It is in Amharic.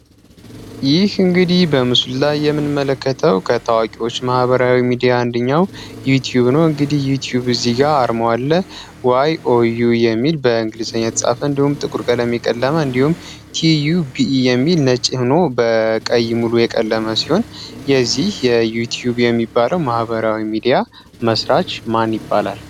ይህ እንግዲህ በምሱልላይ የምንመለከተው ከታዋቂዎች ማህበሪያዊ ሚዲያ አንድኛው ዩትዩብ ኖት እንግዲህ ዩትዩብ በዚህ ጋር አርመዋለ ዩ ትዩብ የሚል በእንግሊዝኝ የትጻፈ እንዲሁም ጥቁርቀ ለሚቀለመ እንዲሁም tዩu ቢe የሚል ነጭህኖ በቀይ ሙሉ የቀለመ ሲሆን የዚህ የዩትዩብ የሚባለው ማህበሪዊ ሚዲያ መስራች ማን ይባላል፡፡